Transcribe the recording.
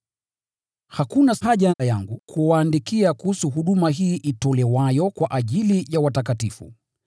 Hakuna haja yangu kuwaandikia kuhusu huduma hii itolewayo kwa ajili ya watakatifu.